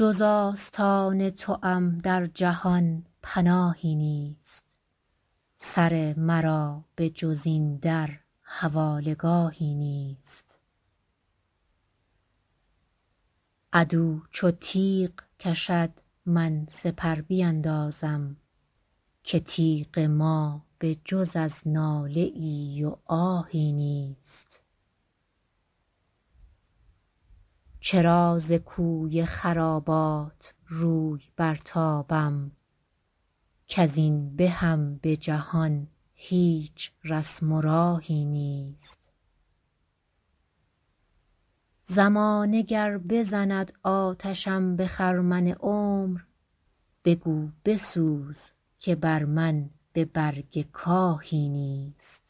جز آستان توام در جهان پناهی نیست سر مرا به جز این در حواله گاهی نیست عدو چو تیغ کشد من سپر بیندازم که تیغ ما به جز از ناله ای و آهی نیست چرا ز کوی خرابات روی برتابم کز این بهم به جهان هیچ رسم و راهی نیست زمانه گر بزند آتشم به خرمن عمر بگو بسوز که بر من به برگ کاهی نیست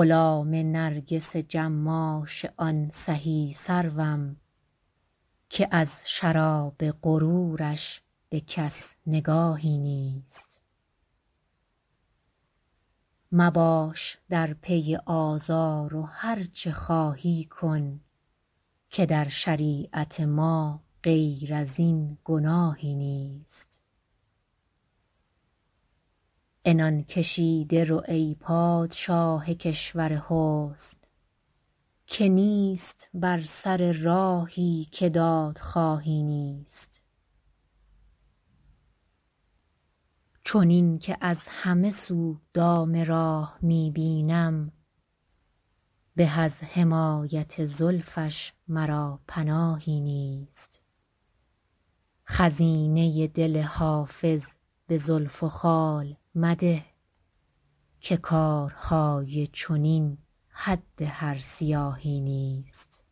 غلام نرگس جماش آن سهی سروم که از شراب غرورش به کس نگاهی نیست مباش در پی آزار و هرچه خواهی کن که در شریعت ما غیر از این گناهی نیست عنان کشیده رو ای پادشاه کشور حسن که نیست بر سر راهی که دادخواهی نیست چنین که از همه سو دام راه می بینم به از حمایت زلفش مرا پناهی نیست خزینه دل حافظ به زلف و خال مده که کارهای چنین حد هر سیاهی نیست